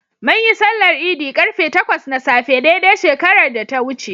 Munyi sallar Idi ƙarfe takwas na safe dai dai shekarar da ta wuce.